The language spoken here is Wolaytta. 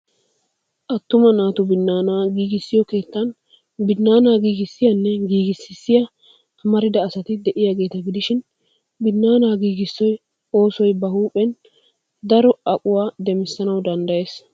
Attuma naatu binnaanaa giigissiyoo keettan binnaanaa giigissiyaanne giigississya amarida asati de'iyaageeta gidishin binnaana giigissiyoo oosoy bahuuphen daro aquwaa demissanawu danddayees.